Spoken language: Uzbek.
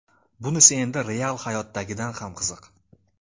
Bunisi endi real hayotdagidan ham qiziq.